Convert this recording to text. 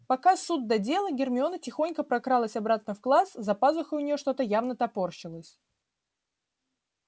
пока суд да дело гермиона тихонько прокралась обратно в класс за пазухой у нее что-то явно топорщилось